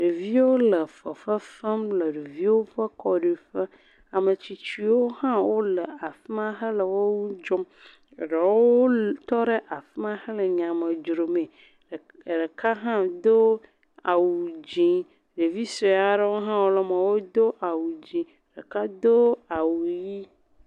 Ɖeviwo le fefefem le ɖeviwo ƒe xɔme. Ametsitsiwo hã le afi ma hele wo dzɔm. Eɖewo tɔ ɖe afi ma hele nyame dzrom. Ɖewo do awu dzi. Ɖevi sue aɖewo hã le eme wodo awu dzi. Ɖeka do awu ʋi.